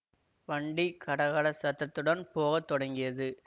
வண்டி கட கட சத்ததுடன் போகத் தொடங்கியது